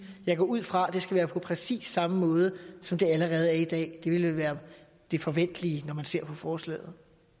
jeg går ud fra at det skal være på præcis samme måde som det allerede er i dag det ville være det forventelige når man ser på forslaget